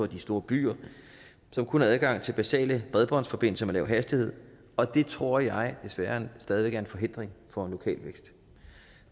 de store byer som kun har adgang til basale bredbåndsforbindelser med lav hastighed og det tror jeg desværre stadig væk er en forhindring for lokal vækst